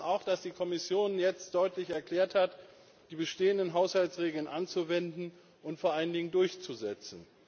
Wir begrüßen auch, dass die Kommission jetzt deutlich erklärt hat, die bestehenden Haushaltsregeln anzuwenden und vor allen Dingen durchzusetzen.